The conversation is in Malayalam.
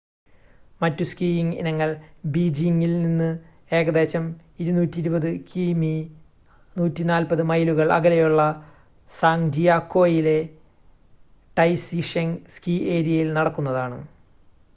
മറ്റു സ്കീയിംങ് ഇനങ്ങൾ ബീജിംങിൽനിന്ന് ഏകദേശം 220 കി.മി 140 മൈലുകൾ അകലെയുള്ള സാങ്ജിയാക്കൊയിലെ ടൈസിഷെങ് സ്കീ ഏരിയയിൽ നടക്കുന്നതാണ്